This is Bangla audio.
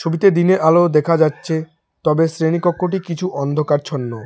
ছবিতে দিনের আলো দেখা যাচ্ছে তবে শ্রেণীকক্ষটি কিছু অন্ধকারছন্ন ।